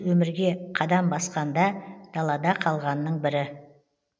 өмірге қадам басқанда далада қалғанның бірі